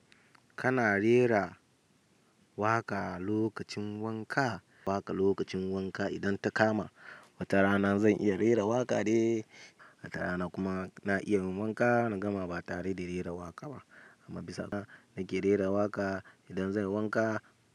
Kana rera waƙa lokacin wanka, waƙa lokacin wanka idan ta kama wata rana zan iya rera waƙa dai, wata rana kuma na iya yin wanka na gama ba tare da rera waƙa ba. Amma bisa na ke rera waƙa idan zan yi wanka.